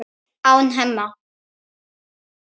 án Hemma.